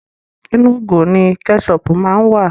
Inú ìgò ni kẹ́ṣọpù má ń wà.